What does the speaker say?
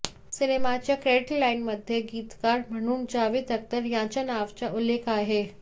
सिनेमाच्या क्रेडीट लाईनमध्ये गीतकार म्हणून जावेद अख्तर यांच्यानावाचा उल्लेख आहे